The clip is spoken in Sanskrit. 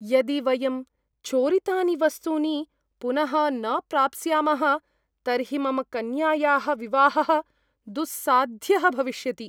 यदि वयं चोरितानि वस्तूनि पुनः न प्राप्स्यामः तर्हि मम कन्यायाः विवाहः दुस्साध्यः भविष्यति।